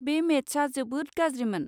बै मेटचआ जोबोद गाज्रिमोन।